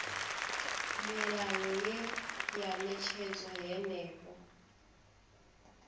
milayo ye ya ṅetshedzwa henefho